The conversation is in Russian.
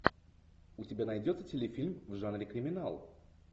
у тебя найдется телефильм в жанре криминал